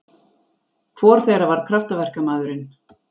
Hvor þeirra var kraftaverkamaðurinn?